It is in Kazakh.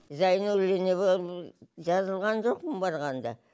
зайнуллина болып жазылған жоқпын барғанда